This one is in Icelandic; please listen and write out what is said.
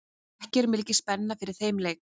Er ekki mikil spenna fyrir þeim leik?